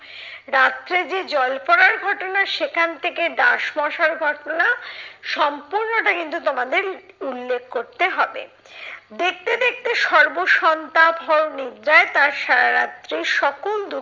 রাত্রে যে জল পড়ার ঘটনা সেখান থেকে ডাস মশার ঘটনা, সম্পূর্ণটা কিন্তু তোমাদের উল্লেখ করতে হবে। দেখতে দেখতে সর্বসন্তাপহর নিদ্রায় তার সারা রাত্রি সকল